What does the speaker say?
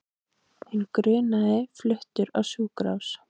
Hinn grunaði fluttur á sjúkrahús